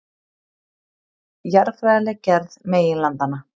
Jarðfræðileg gerð meginlandanna.